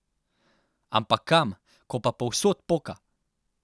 Ampak kam, ko pa povsod poka?